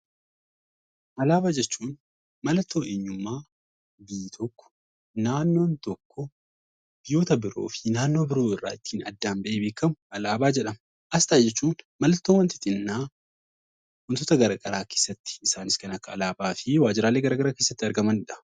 Alaabaa jechuun mallattoo eenyummaa biyyi tokko, naannoon tokko biyyoota biroo fi naannoo biroo irraa ittiin addaan ba'ee beekamu alaabaa jedhama. Asxaa jechuun mallattoo wanti xinnaan wantoota gara garaa keessatti, isaanis kan akka alaabaa fi waajjiraalee gara garaa keessatti argamanidha.